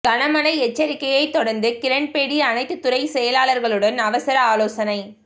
கனமழை எச்சரிக்கையை தொடர்ந்து கிரண்பேடி அனைத்து துறை செயலாளர்களுடன் அவசர ஆலோசனை